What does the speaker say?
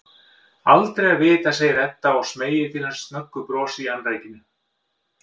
Aldrei að vita, segir Edda og smeygir til hans snöggu brosi í annríkinu.